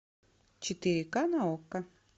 четыре к на окко